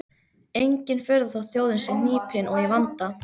Engin furða þótt þjóðin sé hnípin og í vanda.